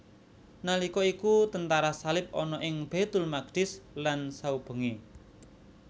Nalika iku tentara salib ana ing Baitul Maqdis lan saubengé